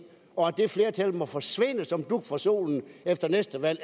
og at det flertal må forsvinde som dug for solen efter næste valg